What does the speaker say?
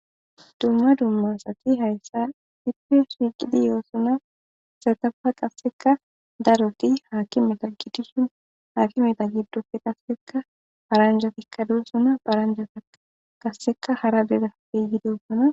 Dumma dumma asathi heyssan issipe shiiqidi yoosona; ha asathuppekka qassika darothi haakimetha gidishin haakimetha giddoppe qassika paranjjathikka doosona;paranjjathi qassikka hara hara dereppe yiidosona.